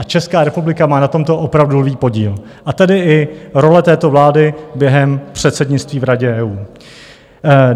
A Česká republika má na tomto opravdu lví podíl - a tedy i role této vlády během předsednictví v Radě EU.